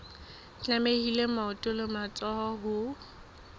tlamehile maoto le matsoho ho